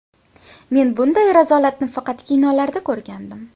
Men bunday razolatni faqat kinolarda ko‘rgandim.